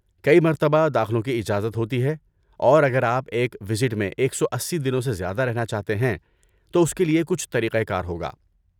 کئی مرتبہ داخلوں کی اجازت ہوتی ہے اور اگر آپ ایک ویزٹ میں ایک سو اسی دنوں سے زیادہ رہنا چاہتے ہیں تو اس کےلیے کچھ طریقہ کار ہوگا